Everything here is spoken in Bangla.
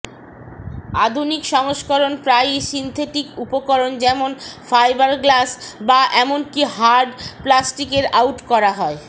আধুনিক সংস্করণ প্রায়ই সিনথেটিক উপকরণ যেমন ফাইবারগ্লাস বা এমনকি হার্ড প্লাস্টিকের আউট করা হয়